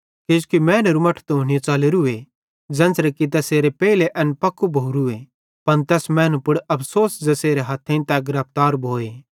किजोकि मैनेरू मट्ठू त हुनी च़लोरोस ज़ेन्च़रे कि तैसेरेलेइ पेइले एन पक्कू भोरूए पन तैस मैनू पुड़ अफ़सोस ज़ेसेरे हथेइं तै गिरफ्तार भोए